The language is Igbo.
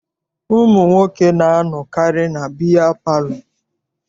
Ụmụ nwoke na-anọkarị na biya palọ.